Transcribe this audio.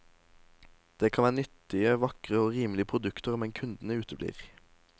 Det kan være nyttige, vakre og rimelige produkter, men kundene uteblir.